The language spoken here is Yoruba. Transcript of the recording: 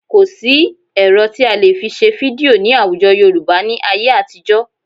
Kò sí ẹ̀rọ tí a lè fi ṣe fídíò ní àwùjọ Yorùbá ní ayé àtijọ́